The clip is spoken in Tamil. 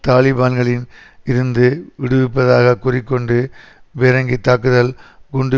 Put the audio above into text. தலிபான்களிம் இருந்து விடுவிப்பதாகக் கூறி கொண்டு பீரங்கித்தாக்குதல் குண்டு